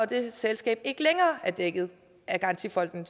dit selskab ikke længere er dækket af garantifonden